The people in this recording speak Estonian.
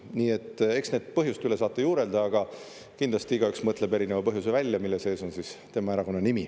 Nii et eks nende põhjuste üle saate juurelda, aga kindlasti igaüks mõtleb erineva põhjuse välja, mille sees on siis tema erakonna nimi.